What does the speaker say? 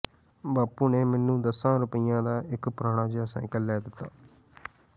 ਬਾਪੂ ਨੇ ਮੈਨੂੰ ਦਸਾਂ ਰੁਪੱਈਆਂ ਦਾ ਇੱਕ ਪੁਰਾਣਾ ਜਿਹਾ ਸਾਇਕਲ ਲੈ ਦਿੱਤਾ